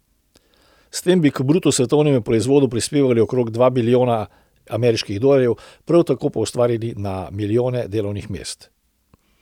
S tem bi k bruto svetovnemu proizvodu prispevali okrog dva bilijona ameriških dolarjev, prav tako pa ustvarili na milijone delovnih mest.